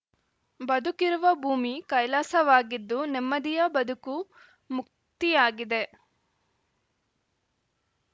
ಬದುಕಿರುವ ಭೂಮಿ ಕೈಲಾಸವಾಗಿದ್ದು ನೆಮ್ಮದಿಯ ಬದುಕು ಮುಕ್ತಿಯಾಗಿದೆ